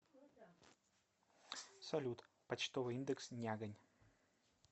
салют почтовый индекс нягань